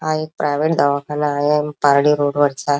हा एक प्राइवेट दवाखाना आहे अम पारडी रोड वरचा.